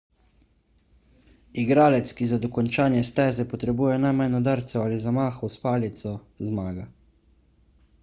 igralec ki za dokončanje steze potrebuje najmanj udarcev ali zamahov s palico zmaga